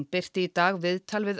birti í dag viðtal við